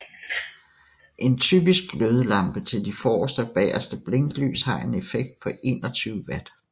En typisk glødelampe til de forreste og bageste blinklys har en effekt på 21 Watt